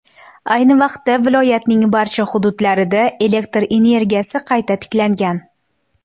Ayni vaqtda viloyatning barcha hududlarida elektr energiyasi qayta tiklangan.